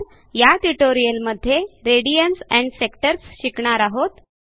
या ट्युटोरियलमध्ये radians and sectors शिकणार आहोत